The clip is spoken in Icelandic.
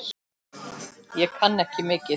Ég kann ekki mikið.